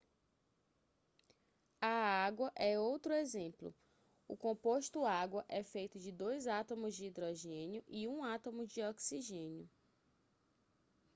a água é outro exemplo o composto água é feito de dois átomos de hidrogênio e um átomo de oxigênio